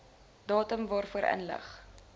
datum waarvoor inligting